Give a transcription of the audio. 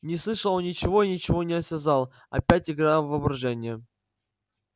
не слышал он ничего и ничего не осязал опять игра воображения